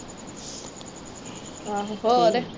ਹੋਰ।